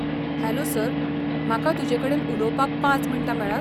Hello sir, म्हाका तुजेकडेन उलोवपाक पांच मिण्टां मेळत ?